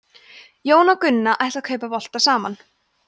jón og gunna ætla að kaupa bolta saman